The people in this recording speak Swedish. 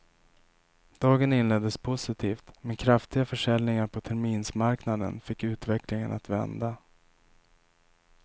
Dagen inleddes positivt, men kraftiga försäljningar på terminsmarknaden fick utvecklingen att vända.